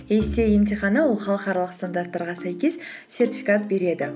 эйсиэй емтиханы ол халықаралық стандарттарға сәйкес сертификат береді